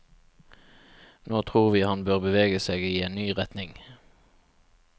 Nå tror vi han bør bevege seg i en ny retning.